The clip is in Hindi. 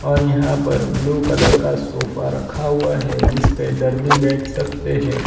और यहां पर ब्लू कलर का सोफा रखा हुआ है जिस पे दर्दी बैठ सकते हैं औ --